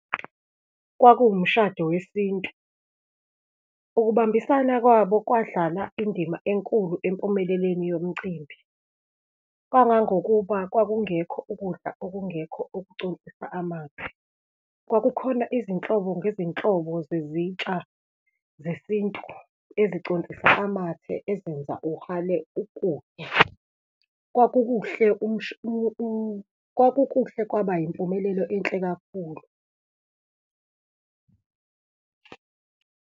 Kwakuwumshado wesintu. Ukubambisana kwabo kwadlala indima enkulu empumeleleni yomcimbi, kangangokuba kwakungekho ukudla okungekho ukuconsisa amathe. Kwakukhona izinhlobo ngezinhlobo zezitsha zesintu eziconsisa amathe ezenza uhalale ukuya. Kwakukuhle, kwakukuhle, kwaba impumelelo enhle kakhulu.